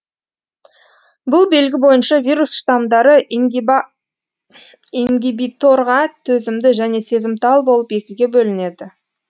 бұл белгі бойынша вирус штамдары ингибиторға төзімді және сезімтал болып екіге бөлінеді